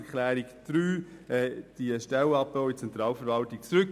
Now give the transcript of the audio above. Deshalb ziehe ich die Planungserklärung 3 zurück.